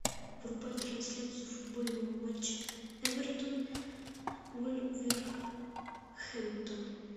врубай трансляцию футбольного матча эвертон вулверхэмптон